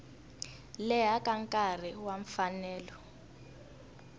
leha ka nkarhi wa mfanelo